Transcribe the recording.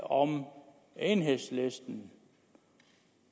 om enhedslisten